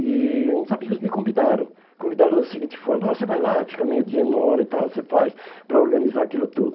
E uns amigos me convidaram, convidaram da seguinte forma, ó, você vai lá, fica meio dia, uma hora e tal, você faz para organizar aquilo tudo.